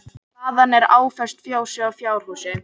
Hlaðan er áföst fjósi og fjárhúsi